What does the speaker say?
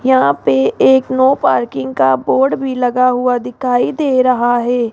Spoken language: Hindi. यहां पे एक नो पार्किंग का बोर्ड भी लगा हुआ दिखाई दे रहा है।